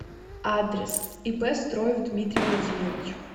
адрес ип строев дмитрий владимирович